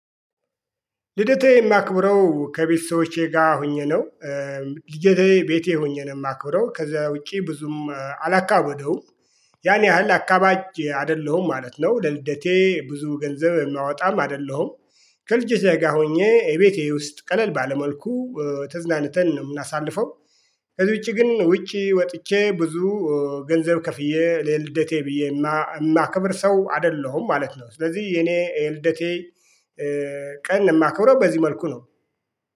ልደቴ የማክብረው ከቤተሰቦቼ ጋር ሆኜ ነው። ልደቴ ቤቴ ሆኜ ነው የማክብረው ከዛ ውጪ ብዙም አላካበደውም። ያን ያህል አካባጅ አይደለሁም ማለት ነው። ለልደቴ ብዙ ገንዘብ የማወጣም አይደለሁም። ከልጆቼ ጋ ሆኜ እቤቴ ውስጥ ቀለል ባለ መልኩ ተዝናንተን ነው የምናሳልፈው። ከዚ ውጪ ግን ውጪ ወጥቼ ብዙ ገንዘብ ከፍዬ ለልደቴ ብዬ የማከብር ሰው አይደለሁም ማለት ነው። ስለዚህ የኔ የልደቴ ቀን የማከብረው በዚህ መልኩ ነው